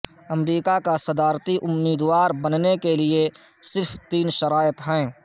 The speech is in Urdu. امریکا کا صدارتی امیدوار بننے کیلئے صرف تین شرائط ہیں